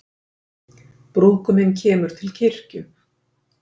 Brúðguminn kemur til kirkju